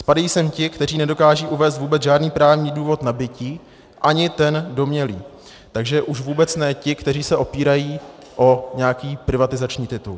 Spadají sem ti, kteří nedokážou uvést vůbec žádný právní důvod nabytí, ani ten domnělý, takže už vůbec ne ti, kteří se opírají o nějaký privatizační titul.